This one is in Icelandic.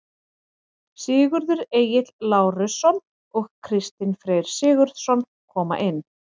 Sigurður Egill Lárusson og Kristinn Freyr Sigurðsson koma inn.